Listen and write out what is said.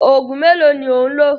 Òògùn mélòó ni ò ń lò?